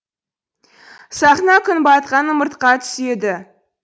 сахна күн батқан ымыртқа түседі